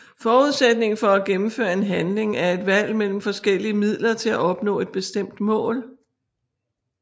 Forudsætningen for at gennemføre en handling er et valg mellem forskellige midler til at opnå et bestemt mål